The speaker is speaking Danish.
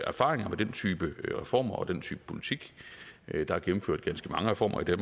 erfaringer med den type reformer og den type politik der er gennemført ganske mange reformer i